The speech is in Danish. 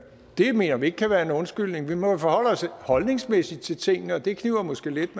det mener vi ikke kan være en undskyldning vi må jo forholde os holdningsmæssigt til tingene og det kniber måske lidt